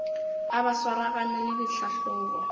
a ba swaragane le ditlhahlobo